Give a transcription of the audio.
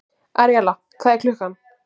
Aríella, hvað er klukkan?